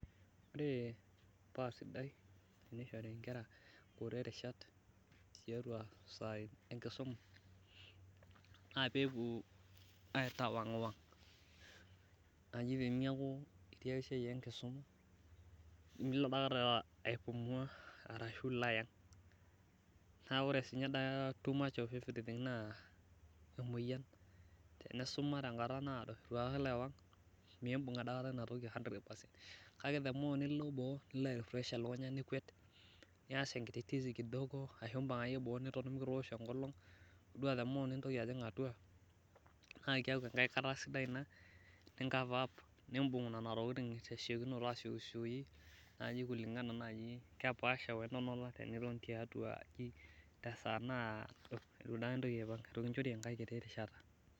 Ore pee enare neishori nkera nkutitik rishat tiatua esiai enkisuma ,naa pee epuo aitawangwang teneeku najai itii esiai enkisuma nilo aipumua arashu ilo ayang ,naa ore siininye too much of everything naa emoyian. ore tenkusuma tenkata naado itu daikata ilo aitawang miimbung daikata ina toki ,kake ore pee ilo boo nili airifresh elukunya nikwet nias enkiti tisi ashu impang akeyie mikitoosho enkolong ,yiolo the more nintoki ajing atua naa keeku enkae rishata ina nicofaup nimbung ena tokiting tesiokinoto asiokisioki ,naaji kulingana naaji kepaasha wentonata teniton tiatua aji tesa naado itu intoki apang aitu kinchori enkae kiti rishata.